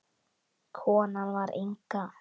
Konan var Inga.